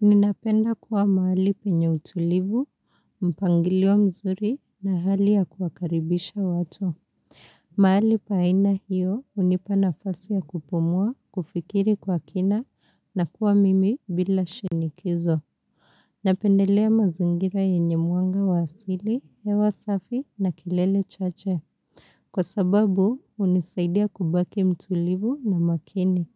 Ninapenda kuwa mahali penye utulivu, mpangilio mzuri na hali ya kuakaribisha watu. Mahali pa aina hiyo hunipa nafasi ya kupumua, kufikiri kwa kina na kuwa mimi bila shinikizo. Napendelea mazingira yenye mwanga wa asili hewa safi na kelele chache. Kwa sababu hunisaidia kubaki mtulivu na makini.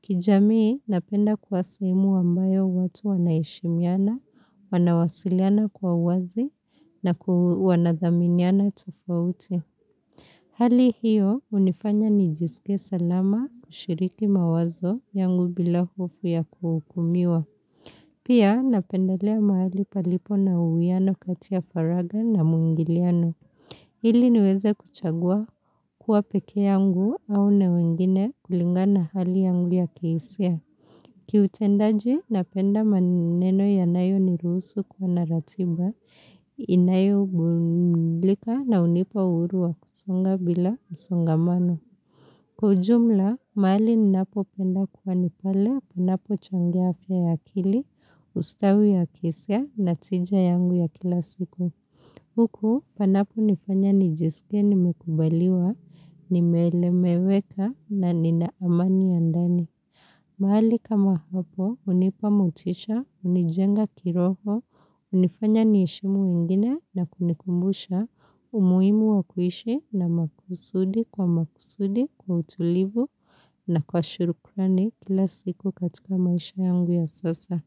Kijamii napenda kuwa sehemu ambayo watu wanaheshimiana, wanawasiliana kwa wazi na wanathaminiana tofauti. Hali hiyo hunifanya nijisike salama kushiriki mawazo yangu bila hofu ya kuhukumiwa. Pia napendelea mahali palipo na uhiano kati faragha na mwingiliano. Ili niweze kuchagua kuwa pekee yangu au na wengine kulingana hali yangu ya kihisia. Kiutendaji napenda maneno yanayo ni ruhusu kuwa na ratiba, inayo badilika na unao nipa uhuru wa kusonga bila msongamano. Kwa ujumla, mahali ninapopenda kuwa ni pale, panapochangia afya ya kili, ustawi ya kihisia, na tija yangu ya kila siku. Huku, panaponifanya nijisike nimekubaliwa, nimeeleweka na nina amani ya ndani. Mahali kama hapo, hunipa motisha, hunijenga kiroho, hunifanya niheshimu wengine na kunikumbusha, umuhimu wakuishi na makusudi kwa makusudi kwa utulivu na kwa shurukrani kila siku katika maisha yangu ya sasa.